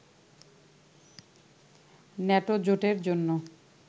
NATO জোটের জন্য